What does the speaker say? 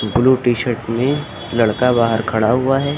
Blue T-shirt में लड़का बाहर खड़ा हुआ है।